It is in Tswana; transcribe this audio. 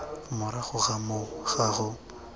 morago ga moo ga go